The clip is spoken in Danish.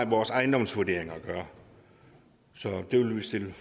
vores ejendomsvurderinger at gøre så det vil vi stille